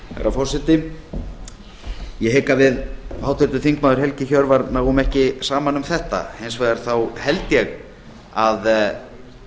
herra forseti ég hygg að við háttvirtur þingmaður helgi hjörvar náum ekki saman um þetta hins vegar þá held ég að